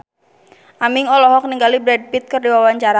Aming olohok ningali Brad Pitt keur diwawancara